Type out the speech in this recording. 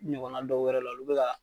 I ɲɔgɔnna dɔwɛrɛ la olu bɛ ka.